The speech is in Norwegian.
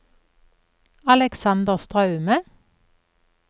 Aleksander Straume